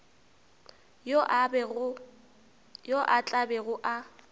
yo a tla bego a